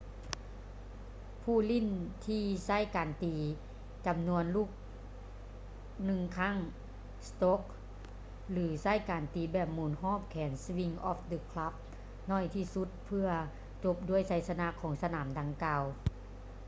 ຜູ້ຫຼິ້ນທີ່ໃຊ້ການຕີຈຳນວນລູກໜຶ່ງຄັ້ງ strokes ຫຼື ໃຊ້ການຕີແບບໝູນຮອບແຂນ swings of the club ໜ້ອຍທີ່ສຸດ ເພື່ອຈົບດ້ວຍໄຊຊະນະຂອງສະໜາມດັ່ງກ່າວ